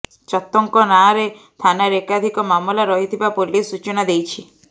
ଚତ୍ତଙ୍କ ନାଁରେ ଥାନାରେ ଏକାଧିକ ମାମଲା ରହିଥିବା ପୋଲିସ ସୂଚନା ଦେଇଛି